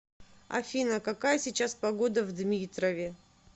афина какая сейчас погода в дмитрове